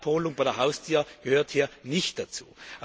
Eine Abholung an der Haustür gehört hier nicht dazu.